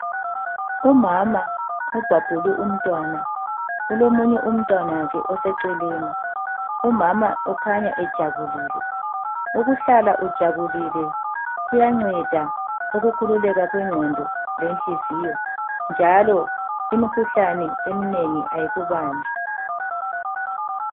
Umama ubhabhule umntwana, kulomunye umntwana wakhe oseceleni. Umama ukhanya ejabulile. Ukuhlala ujabulile kuyanceda ukukhululeka kwenqondo lenhliziyo njalo imikhuhlane eminengi ayikubambi.